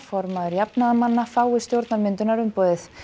formaður jafnaðarmanna fái stjórnarmyndunarumboð